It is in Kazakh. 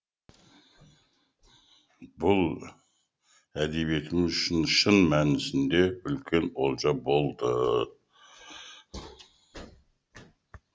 бұл әдебиетіміз үшін шын мәнісінде үлкен олжа болды